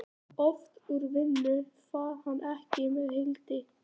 Oft úr vinnu far hann fékk með Hildi.